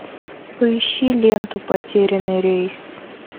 поищи ленту потерянный рейс